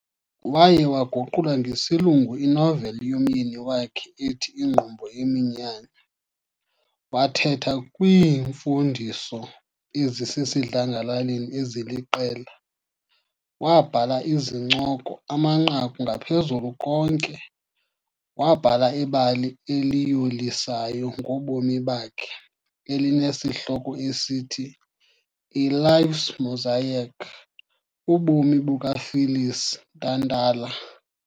Waye waguqulela ngesilungu inoveli yomyeni wakhe ethi Ingqumbo Yeminyanya, wathetha kwiimfundiso ezisesidlangalaleni eziliqela, wabhala izincoko, amanqaku ngaphezu konke wabhala ibali eliyolisayo ngobomi bakhe elineshihloko esithi- "A Life's Mosaic", ubomi buka Phyllis Ntantala.